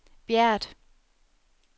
Bjert